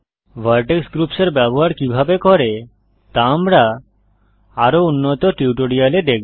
Vertex groups এর ব্যবহার কিভাবে করে তা আমরা আরও উন্নত টিউটোরিয়ালে দেখব